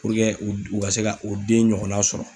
u ka se ka u den ɲɔgɔnna sɔrɔ.